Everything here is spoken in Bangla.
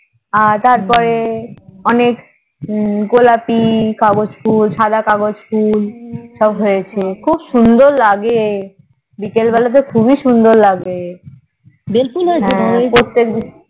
আর তারপরে অনেক গোলাপি কাগজ ফুল সাদা কাগজ ফুল হৈছে খুব সুন্দর লাগে বিকাল বেলা তে খুবই সুন্দর লাগে বেল ফুলের